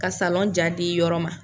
Ka salɔn ja di yɔrɔ ma.